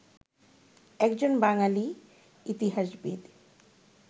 একজন বাঙালি ইতিহাসবিদ